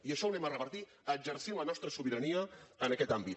i això ho revertirem exercint la nostra sobirania en aquest àmbit